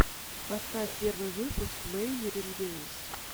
поставь первый выпуск мэйнирин геймс